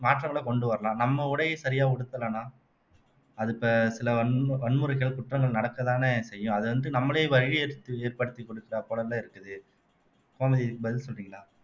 மாற்றங்களை கொண்டு வரலாம் நம்ம உடையை சரியா உடுத்தலைன்னா அது இப்ப சில வன்மு வன்முறைகள் குற்றங்கள் நடக்கத்தானே செய்யும் அதை வந்து நம்மளே வழிய எடுத்து ஏற்படுத்திக் குடுக்கற போலதான் இருக்குது கோமதி இதுக்கு பதில் சொல்றீங்களா